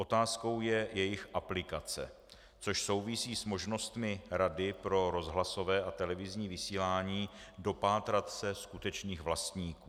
Otázkou je jejich aplikace, což souvisí s možnostmi Rady pro rozhlasové a televizní vysílání dopátrat se skutečných vlastníků.